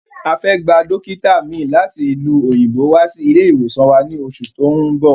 A fẹ́ gba Dókítà mi láti ìlú òyìnbó wá sí ilé ìwòsàn wa ní oṣù tó ún bọ̀